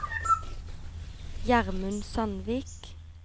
Gjermund Sandvik